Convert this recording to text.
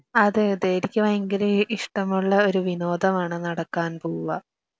അതെ അതെ ,എനിക്ക് വയങ്കര ഇഷ്ടമുള്ള ഒരു വിനോദമാണ് നടക്കാൻ പോവുക